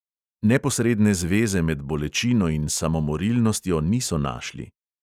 Neposredne zveze med bolečino in samomorilnostjo niso našli.